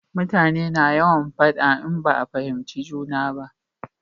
Mutane na yawan faɗa in ba a fahimci juna ba